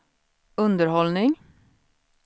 underhållning